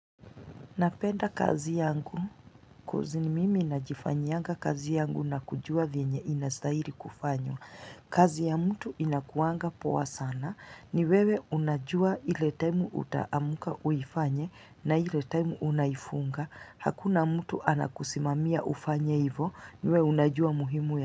Napenda kazi yangu ni mimi najifanyianga kazi yangu na kujua vyenye inastahili kufanywa. Kazi ya mtu inakuanga poa sana ni wewe unajua ile time utaamka uifanye na ile time unaifunga. Hakuna mtu anakusimamia ufanye ivo ni wewe unajua muhimu ya mtu.